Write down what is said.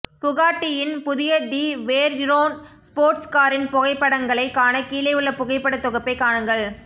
புகாட்டியின் புதிய the Veyron sports காரின் புகைப்படங்களை காண கீழே உள்ள புகைப்பட தொகுப்பை காணுங்கள்